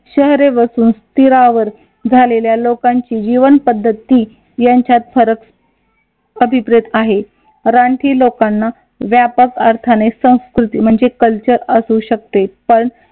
शहरे वसून स्थिरावर झालेल्या लोकांची जीवनपद्धती यांच्यात फरक अभिप्रेत आहे रानटी लोकांना व्यापक अर्थाने संस्कृती म्हणजे कल्चर असू शकते पण